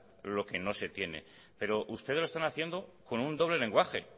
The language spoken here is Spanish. lo que no se tiene pero ustedes lo están haciendo con un doble lenguaje